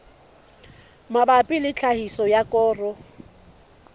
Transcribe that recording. mabapi le tlhahiso ya koro